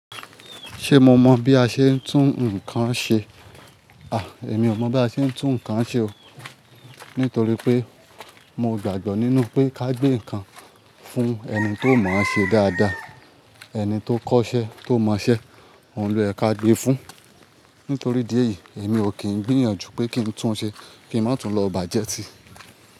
Ṣé mo mọ̀ bí a ṣe ń tún nǹkan ṣe? A! Èmi ò mọ̀ bí a ṣe ń tún nǹkan ṣe o. Nítorí pé mo gbàgbọ́ nínú pé ká gbé nǹkan fún ẹni tó mọ̀ ṣe dáadáa. Ẹni tó kọ́ṣẹ́ tó mọ̀ ṣe, òhun ló yẹ ká gbé fun. Nítorí idí ẹ̀yii, èmi ò kí ń gbìyànjú pé kí n tún un ṣe kí ń má tún lọ bà jẹ́ si.